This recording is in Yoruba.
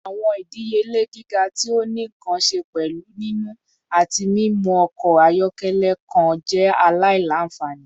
Awọn idiyele giga ti o ni nkan ṣe pẹlu nini ati mimu ọkọ ayọkẹlẹ kan jẹ alailanfani